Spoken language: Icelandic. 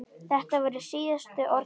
Þetta voru síðustu orð pabba.